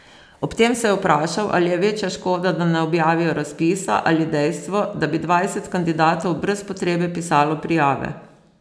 Ob tem se je vprašal, ali je večja škoda, da ne objavijo razpisa, ali dejstvo, da bi dvajset kandidatov brez potrebe pisalo prijave.